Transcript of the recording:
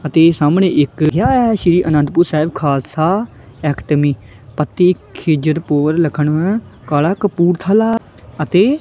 ਅਤੇ ਸਾਹਮਣੇ ਇੱਕ ਸ਼੍ਰੀ ਅਨੰਦਪੁਰ ਸਾਹਿਬ ਖਾਲਸਾ ਏਕੇਡਮੀ ਪਤੀ ਖਿੱਜਰ ਪੁਰ ਲਿਖਣਵਾ ਕਲਾਂ ਕਪੂਰਥਲਾ ਅਤੇ--